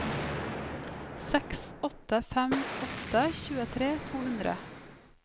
seks åtte fem åtte tjuetre to hundre